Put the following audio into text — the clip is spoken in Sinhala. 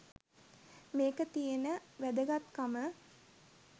මේකෙ තියෙන වැදගත් කම.